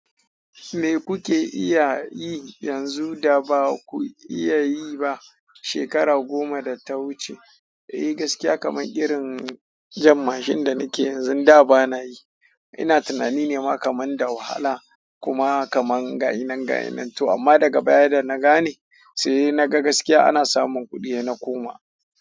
Me kuke iya yi yanzu da ba ku iya yi ba shekara goma da ta wuce? Eh, gaskiya kamar irin jan mashin da nake yi yanzu, da ba na yi. Ina tunani nema kamar da wahala kuma kamar ga shi nana ga shi nan toh amma daga baya da na gane sai na ga gaskiya ana samun kuɗi yana koma.